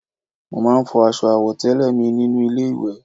Mo máa ń fọ aṣọ àwọ̀tẹ́lẹ̀ mi nínú ilé ìwẹ̀